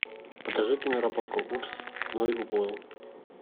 покажи киноработку упс ной уплыл